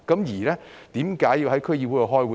為何要在區議會開會？